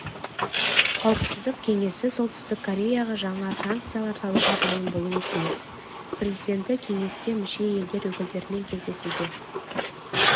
қауіпсіздік кеңесі солтүстік кореяға жаңа санкциялар салуға дайын болуы тиіс президенті кеңеске мүше елдер өкілдерімен кездесуде